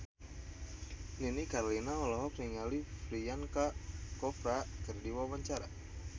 Nini Carlina olohok ningali Priyanka Chopra keur diwawancara